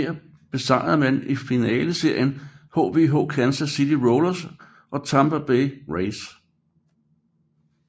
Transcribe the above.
Her besejrede man i finaleserien hhv Kansas City Royals og Tampa Bay Rays